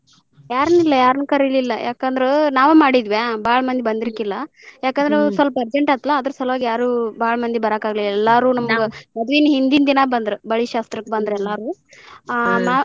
ಯಾರನಿಲ್ಲ ಯಾರನ್ ಕರಿಲಿಲ್ಲ ಯಾಕಂದ್ರ ನಾವ್ ಮಾಡಿದ್ವಿ ಬಾಳ್ ಮಂದಿ ಬಂದಿರ್ಕಿಲ್ಲ ಯಾಕಂದ್ರ ಸ್ವಲ್ಪ urgent ಆತ್ಲಾ ಅದರ್ ಸಲವಾಗಿ ಯಾರು ಬಾಳ್ ಮಂದಿ ಬರಾಕ್ ಆಗ್ಲಿಲ್ಲಾ ಎಲ್ಲಾರು ನಮ್ಗ ಮದ್ವಿ ಹಿಂದಿನ ದಿನಾ ಬಂದ್ರ್ ಬಳಿ ಶಾಸ್ತ್ರಕ್ಕ ಬಂದ್ರ್ ಎಲ್ಲಾರು .